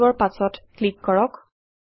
5ৰ পাছত ক্লিক কৰক